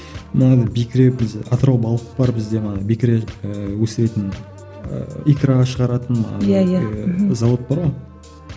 мынадай бекіре бізде атырау балық бар бізде манағы бекіре ііі өсіретін ііі икра шығаратын ыыы иә иә зауыт бар ғой